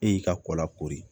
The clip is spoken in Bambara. E y'i ka kɔla kori